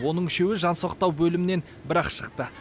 оның үшеуі жансақтау бөлімінен бір ақ шықты